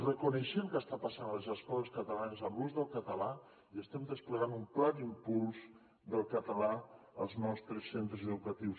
reconeixem què està passant a les escoles catalanes amb l’ús del català i estem desplegant un pla d’impuls del català als nostres centres educatius